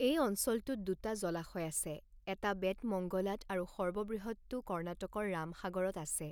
এই অঞ্চলটোত দুটা জলাশয় আছে, এটা বেতমঙ্গলাত আৰু সৰ্ববৃহৎটো কৰ্ণাটকৰ ৰামসাগৰত আছে।